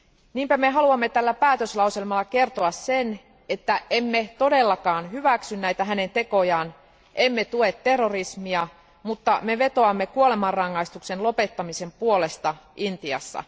Niinpä me haluamme tällä päätöslauselmalla kertoa sen, että emme todellakaan hyväksy näitä hänen tekojaan emmekä tue terrorismia, mutta me vetoamme kuolemanrangaistuksen lopettamisen puolesta Intiassa.